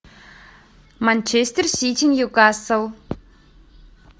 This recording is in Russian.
манчестер сити ньюкасл